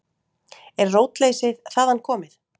Er rótleysið þaðan komið?